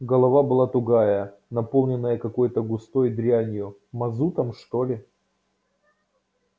голова была тугая наполненная какой-то густой дрянью мазутом что ли